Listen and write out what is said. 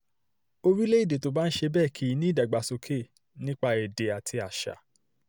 orílẹ̀‐èdè tó bá ń ṣe bẹ́ẹ̀ kì í ní ìdàgbàsókè nípa ti èdè àti àṣà